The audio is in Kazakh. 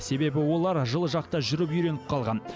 себебі олар жылы жақта жүріп үйреніп қалған